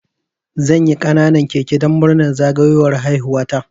Zanyi ƙananan keke dan murnar zagayowar haihuwa ta